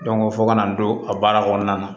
fo ka na n don a baara kɔnɔna na